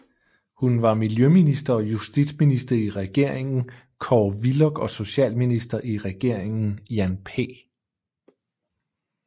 Hun var Miljøminister og Justitsminister i Regeringen Kåre Willoch og Socialminister i Regeringen Jan P